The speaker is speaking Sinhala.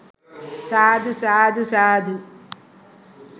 සාදු! සාදු! සාදු!